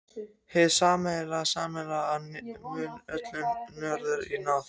Hið sammannlega og sameiginlega öllum mönnum er tjáð í